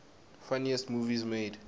funniest movies made